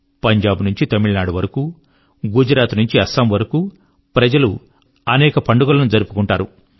పంజాబ్ నుంచి తమిళనాడు వరకు గుజరాత్ నుంచి అస్సాం వరకు ప్రజలు అనేక పండుగల ను జరుపుకుంటారు